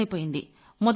అర్థమైపోయింది